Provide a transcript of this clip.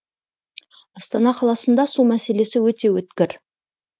астана қаласында су мәселесі өте өткір